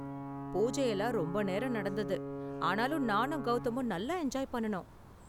பூஜையெல்லாம் ரொம்ப நேரம் நடந்தது, ஆனாலும் நானும் கௌதமும் நல்லா என்ஜாய் பண்ணுனோம்.